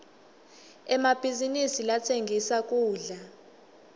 emabhizinisi latsengisa kudla